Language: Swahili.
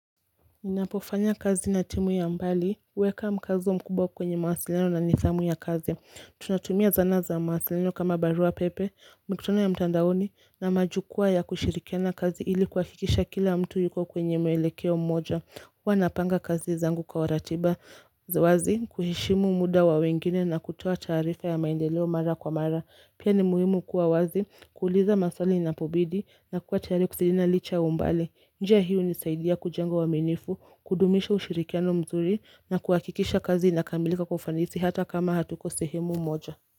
Ninapofanya kazi na timu ya mbali, huweka mkazo mkubwa kwenye mawasiliano na nidhamu ya kazi. Tunatumia zana za mawasiliano kama barua pepe, mkutano ya mtandaoni na majukwa ya kushirikiana kazi ili kuhakikisha kila mtu yuko kwenye mwelekeo mmoja. Huwa napanga kazi zangu kwa ratiba. Za wazi, kuheshimu muda wa wengine na kutoa taarifa ya maendeleo mara kwa mara. Pia ni muhimu kuwa wazi, kuuliza maswali inapobidi na kuwa tayari kusaidiana licha ya umbali. Njia hii hunisaidia kujenga uaminifu, kudumisha ushirikiano mzuri na kuhakikisha kazi inakamilika kwa ufanisi hata kama hatuko sehemu moja.